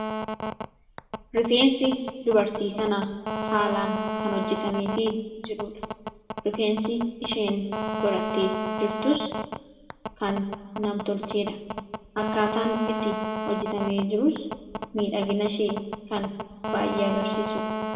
Rifeensi dubartii kanaa haalaan kan hojjetameefii jiruudha. Rifeensi isheen godhattee jirtus kan nam-tolcheedha. akkaataan itti hojjetamee jirus miidhagina ishee kan baay'ee agarsiisuudha.